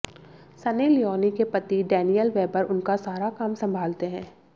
Sunny Leone के पति Daniel Weber उनका सारा काम संभालते हैं